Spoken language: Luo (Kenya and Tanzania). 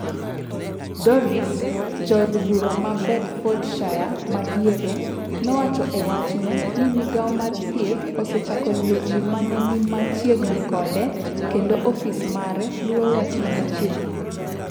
Dorries, Jaod bura ma Bedfordshire madiere, nowacho e wachne ni migao mar Thieth osechako luwo ji ma ne ni machiegni kode, kendo ofis mare luwo wachni machiegni.